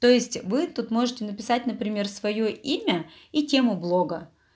то есть вы тут можете написать например своё имя и тему блога